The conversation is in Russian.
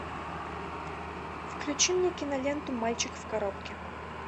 включи мне киноленту мальчик в коробке